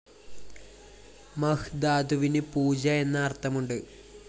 മഹ് ധാതുവിന് പൂജ എന്ന് അര്‍ത്ഥമുണ്ട്